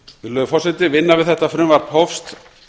virðulegur forseti vinna við þetta frumvarp hófst